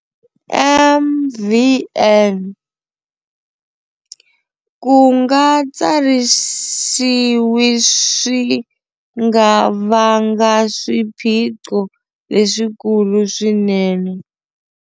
MvN- Ku nga tsarisiwi swi nga vanga swiphiqo leswikulu swinene.